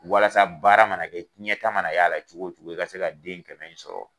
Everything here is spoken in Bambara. Walasa baara mana kɛ cɛn ta mana y'a la cogo o cogo, i ka se ka den kɛmɛ in sɔrɔ.